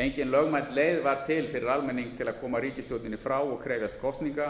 engin lögmæt leið var til fyrir almenning til að koma ríkisstjórninni frá og krefjast kosninga